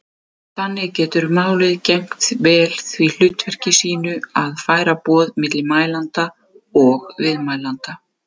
Þannig getur málið gegnt vel því hlutverki sínu að færa boð milli mælanda og viðmælanda.